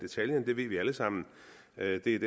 vi ved alle sammen at det er